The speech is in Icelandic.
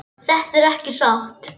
Þetta er ekki satt!